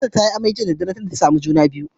Nefisat ta yi amai a daddare jiya tunda tasamu juna biyu